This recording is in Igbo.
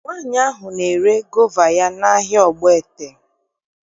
Nwaanyị ahụ na-ere gova ya n'ahịa Ogbaete